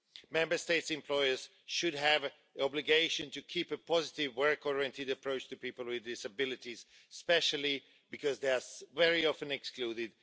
Member State employers should have the obligation to keep a positive work oriented approach to people with disabilities, especially because they are very often excluded.